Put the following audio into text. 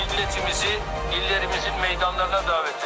Millətimizi, illərimizin meydanlarına dəvət edirəm.